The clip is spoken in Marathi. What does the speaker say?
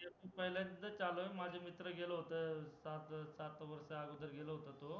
मी आता पहिल्यांदा च आलोय माझे मित्र गेला होता पाच सहा वर्षाअगोदर गेला होता तो